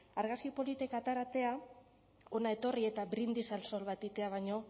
argazki politek ataratea hona etorri eta brindis al sol bat egitea baino